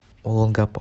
олонгапо